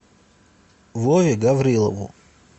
вове гаврилову